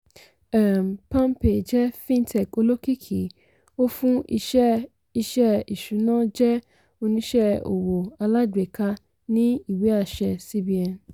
um palmpay jẹ fintech olókìkí ó fún iṣẹ́ iṣẹ́ ìṣùná jẹ oníṣẹ́ owó alágbèéká ní ìwé-àṣẹ cbn.